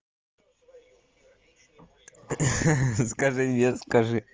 ха ха скажи мне скажи